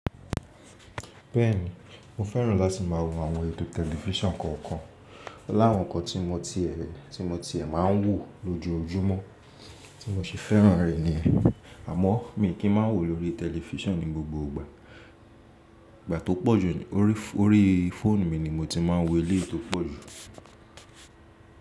Bẹ́ẹ̀ni, mo fẹ́ràn láti má a wo àwọn ètò tẹlifísàn kọ̀ọ̀kan. Láwọn n kan tí mo tiẹ́ má a ń wò lójoojúmọ́ tí mo ṣi fẹ́ràn rẹ̀ ni, àmọ́ mi kì í má a wò lórí tẹlifísàn ní gbogbo ìgbà. Ìgbà tó pọ̀jù orí fóònù mi ni mo ti má a n wò eléyìí to pọ̀jù.